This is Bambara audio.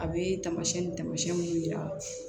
A bɛ taamasiyɛn ni taamasiyɛn minnu yira